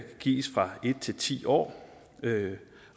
gives fra en til ti år